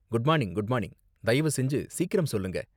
Good மானிங் good மானிங், தயவு செஞ்சு சீக்கிரம் சொல்லுங்க.